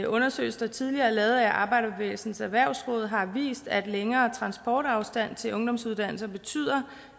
undersøgelse der tidligere er lavet af arbejderbevægelsens erhvervsråd har vist at længere transportafstand til ungdomsuddannelser betyder